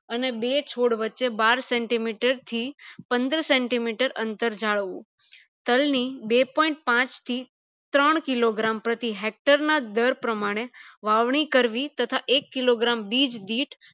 અને બે છોડ વચ્ચે બાર centimeter થી પંદર centimeter અંતર જાળવવું તલ ની બે point પાંચ થી ત્રણ kilogram પ્રતિ hector ના દર પ્રમાણે વાવણી કરવી તથા એક kilogram બિહ ડીડ